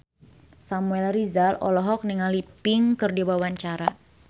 Samuel Rizal olohok ningali Pink keur diwawancara